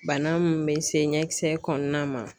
Bana mun bɛ se ɲɛkisɛ kɔnɔna ma.